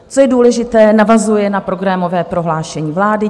Co je důležité, navazuje na programové prohlášení vlády.